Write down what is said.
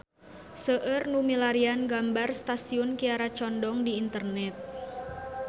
Seueur nu milarian gambar Stasiun Kiara Condong di internet